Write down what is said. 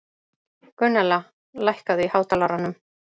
Gunnella, lækkaðu í hátalaranum.